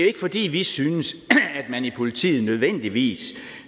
ikke fordi vi synes at man i politiet nødvendigvis